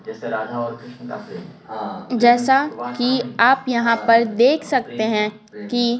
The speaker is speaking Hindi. जैसा कि आप यहाँ पर देख सकते हैं कि--